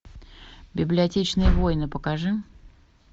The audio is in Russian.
библиотечные войны покажи